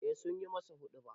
Eh sun yi masa huɗuba.